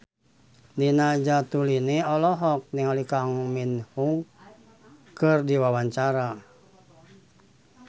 Nina Zatulini olohok ningali Kang Min Hyuk keur diwawancara